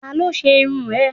Talo se irún e?